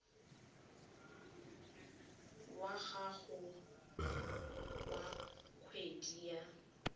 wa gago wa kgwedi wa